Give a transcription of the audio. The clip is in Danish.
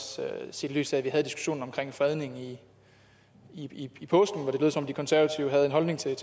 set i lyset af at vi havde diskussionen omkring fredningen i påsken hvor det lød som om de konservative havde en holdning til